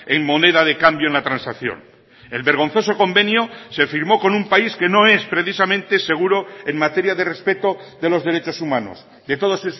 en moneda de cambio en la transacción el vergonzoso convenio se firmó con un país que no es precisamente seguro en materia de respeto de los derechos humanos de todos